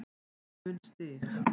mun stig